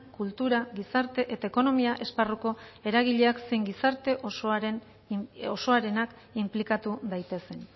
kultura gizarte eta ekonomia esparruko eragileak zein gizarte osoarenak inplikatu daitezen